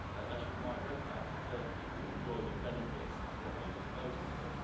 They should migrate back to Turkey to enjoy the benefits of what they just voted for.